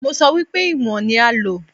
Mo sọ wípé ìwọ̀n ní a ó lò.